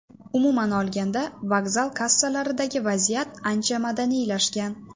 Umuman olganda, vokzal kassalaridagi vaziyat ancha madaniylashgan.